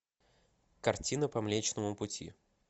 картина по млечному пути